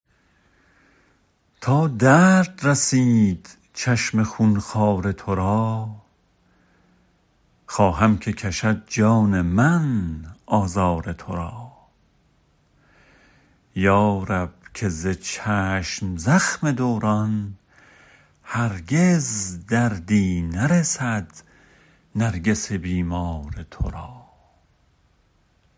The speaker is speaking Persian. تا درد رسید چشم خون خوار تو را خواهم که کشد جان من آزار تو را یا رب که ز چشم زخم دوران هرگز دردی نرسد نرگس بیمار تو را